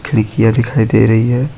खिड़कियां दिखाई दे रही है।